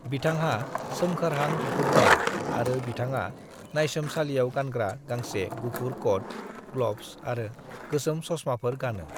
"बिथांहा सोमखोरहां बिगुर दं आरो बिथाङा नायसोमसालियाव गानग्रा गांसे गुफुर कोट, ग्लबस आरो गोसोम चश्माफोर गानो।"